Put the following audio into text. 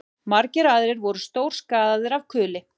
Margir aðrir voru stórskaðaðir af kuli